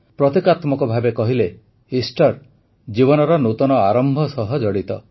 ପ୍ରତୀକାତ୍ମକ ଭାବେ କହିଲେ ଇଷ୍ଟର ଜୀବନର ନୂତନ ଆରମ୍ଭ ସହ ଜଡ଼ିତ